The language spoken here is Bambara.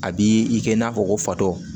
A b'i i kɛ i n'a fɔ ko fatɔ